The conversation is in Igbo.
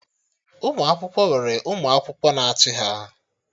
Ụmụ akwụkwọ nwere ụmụ akwụkwọ na-achị ha